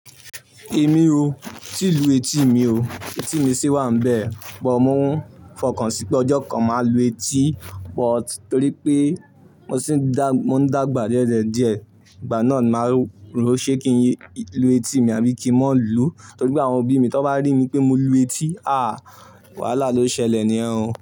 Èmi o, tí ì lu etí mi o, etí mi sì wà níbẹ̀, but mò ń fọkàn sí pé ọjọ́ kan mà lu etí but torí pé mo ń dàgbà diẹ́diẹ̀ díẹ̀, ìgbà náà máa rò ó ṣe kí n lu etí mi àbí kí mà lu, torí pé àwọn òbí mi tán bá rí mi pé mo lu etí, àh! Wàhálà lo ṣẹlẹ̀ ní yen o.